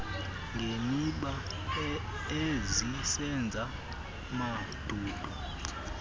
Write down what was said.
ngemiba ezisenza mandundu